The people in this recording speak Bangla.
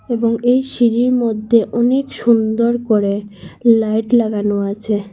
এবং এই সিঁড়ির মধ্যে অনেক সুন্দর করে লাইট লাগানো আছে।